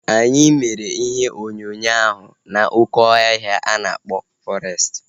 Anyị mere ihe onyonyo ahu n'oké ọhịa ana akpọ fọrestị